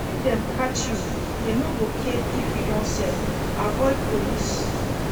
If dem catch you, dem no go care if you don sell, avoid police.